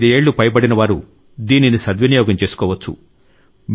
45 ఏళ్లు పైబడిన వారు దీనిని సద్వినియోగం చేసుకోవచ్చు